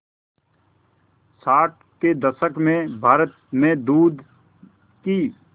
साठ के दशक में भारत में दूध की